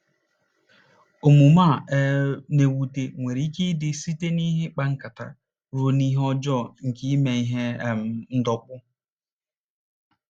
Omume a um na-ewute nwere ike ịdị site n’ihe ịkpa nkata ruo n’ihe ọjọọ nke ime ihe um ndọkpụ.